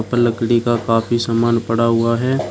अ लकड़ी का काफी सामान पड़ा हुआ है।